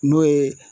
N'o ye